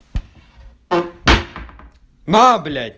на блять